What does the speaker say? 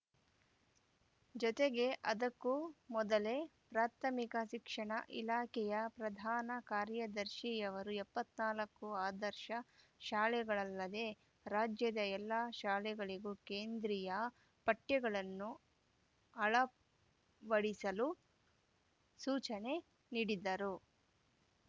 ಜತೆಗೆ ಅದಕ್ಕೂ ಮೊದಲೇ ಪ್ರಾಥಮಿಕ ಶಿಕ್ಷಣ ಇಲಾಖೆಯ ಪ್ರಧಾನ ಕಾರ್ಯದರ್ಶಿಯವರು ಎಪ್ಪತ್ತ್ ನಾಲ್ಕು ಆದರ್ಶ ಶಾಲೆಗಳಲ್ಲದೆ ರಾಜ್ಯದ ಎಲ್ಲ ಶಾಲೆಗಳಿಗೂ ಕೇಂದ್ರೀಯ ಪಠ್ಯಗಳನ್ನು ಅಳವಡಿಸಲು ಸೂಚನೆ ನೀಡಿದ್ದರು